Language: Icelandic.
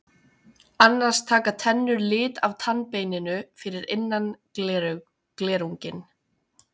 Annars taka tennur lit af tannbeininu fyrir innan glerunginn.